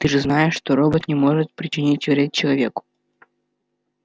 ты же знаешь что робот не может причинить вред человеку